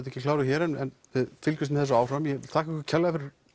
ekki kláruð hér en við fylgjumst með þessu áfram þakka ykkur kærlega fyrir